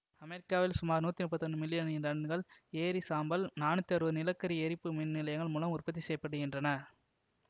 அமெரிக்காவில் சுமார் நூற்றி முப்பத்தி ஒன்று மில்லியன் டன்கள் எரி சாம்பல் நானூத்தி அறுவது நிலக்கரி எரிப்பு மின் நிலையங்கள் மூலம் உற்பத்தி செய்ய படுகின்றன